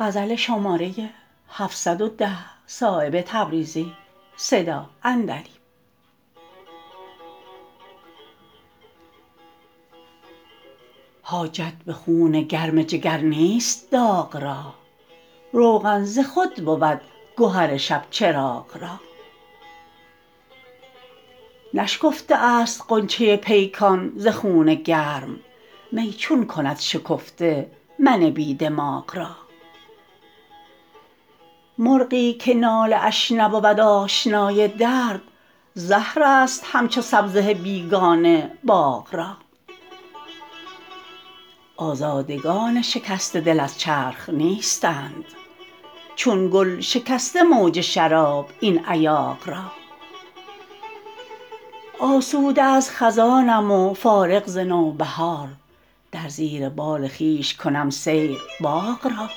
حاجت به خون گرم جگر نیست داغ را روغن ز خود بود گهر شبچراغ را نشکفته است غنچه پیکان ز خون گرم می چون کند شکفته من بی دماغ را مرغی که ناله اش نبود آشنای درد زهرست همچو سبزه بیگانه باغ را آزادگان شکسته دل از چرخ نیستند چون گل شکسته موج شراب این ایاغ را آسوده از خزانم و فارغ ز نوبهار در زیر بال خویش کنم سیر باغ را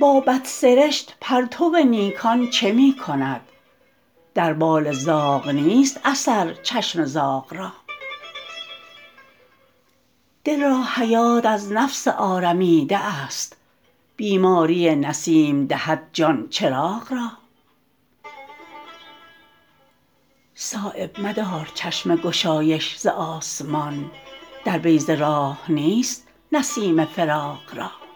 با بدسرشت پرتو نیکان چه می کند در بال زاغ نیست اثر چشم زاغ را دل را حیات از نفس آرمیده است بیماری نسیم دهد جان چراغ را صایب مدار چشم گشایش ز آسمان در بیضه راه نیست نسیم فراغ را